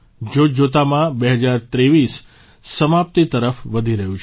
જોતજોતામાં ૨૦૨૩ સમાપ્તિ તરફ વધી રહ્યુ છે